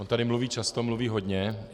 On tady mluví často, mluví hodně.